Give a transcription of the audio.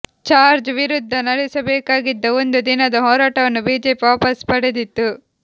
George ವಿರುದ್ಧ ನಡೆಸಬೇಕಾಗಿದ್ದ ಒಂದು ದಿನದ ಹೋರಾಟವನ್ನು ಬಿಜೆಪಿ ವಾಪಸ್ ಪಡೆದಿತ್ತು